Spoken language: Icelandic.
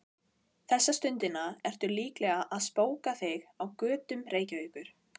Þessa stundina ertu líklega að spóka þig á götum Reykjavíkur.